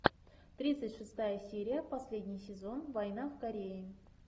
тридцать шестая серия последний сезон война в корее